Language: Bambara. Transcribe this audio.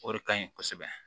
O de ka ɲi kosɛbɛ